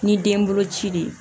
Ni den bolo ci de ye